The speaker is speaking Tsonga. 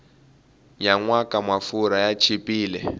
nyanwaka mafurha ya chipile